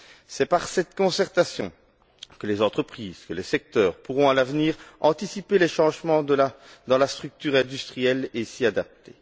C'est par cette concertation que les entreprises, que les secteurs pourront à l'avenir anticiper les changements dans la structure industrielle et s'y adapter.